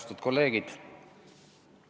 Austatud kolleegid!